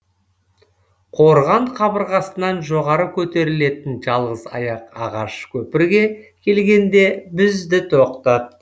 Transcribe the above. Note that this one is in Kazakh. қорған қабырғасынан жоғары көтерілетін жалғыз аяқ ағаш көпірге келгенде бізді тоқтат